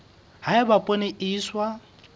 ha eba poone e iswa